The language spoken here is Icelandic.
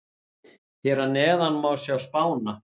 Hér að neðan má sjá spána.